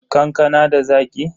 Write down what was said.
Kankanan da Zaki?